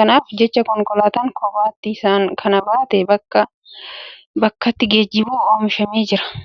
Kanaaf jecha konkolaataan kophaatti isaan kana baatee bakkaa bakkatti geejjibu oomishamee jira.